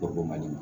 O b'o man di